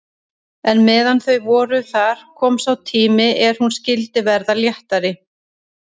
En meðan þau voru þar kom sá tími er hún skyldi verða léttari.